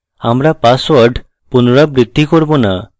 আমরা পাসওয়ার্ড পুনরাবৃত্তি করব না